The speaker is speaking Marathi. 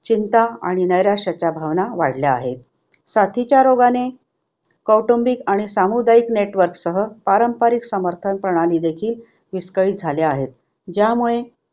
चिंता आणि नैराश्याच्या भावना वाढल्या आहेत. साथीच्या रोगाने कौटुंबिक आणि सामुदायिक network सह पारंपारिक समर्थन प्रणाली देखील विस्कळीत झाले आहे. ज्यामुळे